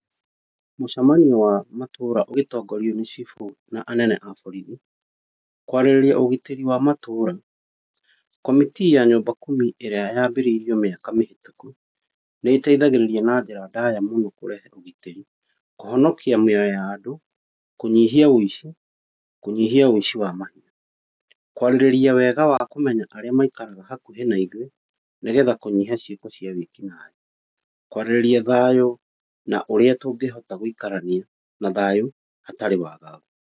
Mũcemanio wa matũra ũgĩtongorio nĩ cibũ na anene a borithi, kwarĩrĩria ũgitĩri wa matũra. Committe ya nyumba kumi ĩrĩa yambĩrĩirio mĩaka mĩhĩtũku nĩĩteithagĩrĩria na njĩra ndaya kũrehe ũgitĩri, kũhonokia mĩoyo ya andũ, kũnyihia ũici, kũnyihia ũici wa mahiũ, kwarĩrĩria wega wa arĩa maikaraga hakuhĩ na ithuĩ, nĩgetha kũnyihia ciĩko cia wĩkinaĩ. Kwarĩrĩria thayũ na ũrĩa tũngĩhota gũikarania kwĩna thayũ hatarĩ wagagu.